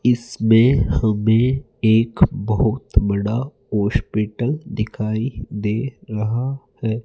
इसमें हमे एक बहोत बड़ा हॉस्पिटल दिखाई दे रहा है।